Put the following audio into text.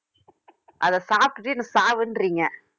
அத சாப்பிட்டுட்டு என்னை சாவுன்றீங்க